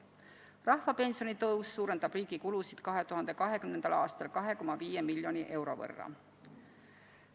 Rahvapensioni tõus suurendab riigi kulusid 2020. aastal 2,5 miljoni euro võrra.